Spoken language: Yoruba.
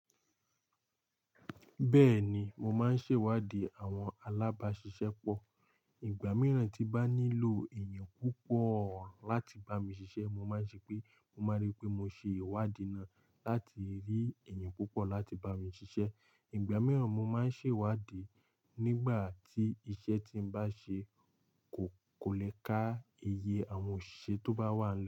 Bẹ́ẹ̀ni, mo máa ń ṣèwádìí àwọn alábáṣiṣẹ́ pọ̀. Ìgbà mìíràn tí bá nílò èèyàn púpọ̀ láti bá mi ṣiṣẹ́, mo máa ń ṣe pé, mo máa rí pé mo ṣe ìwádìí náà láti rí èèyàn púpọ̀ láti bá mi ṣiṣẹ́. Ìgbà mìíràn mo máa ń ṣèwádìí nígbà tí iṣẹ́ tí bá ń ṣe kò, kò le ká iye àwọn òṣìṣẹ́ tó bá wà.